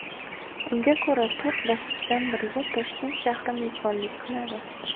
Unga ko‘ra, to‘rt bosqichdan biriga Toshkent shahri mezbonlik qiladi.